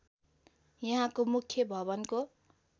यहाँको मुख्य भवनको